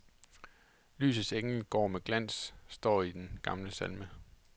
Lysets engel går med glans, står der i den gamle salme.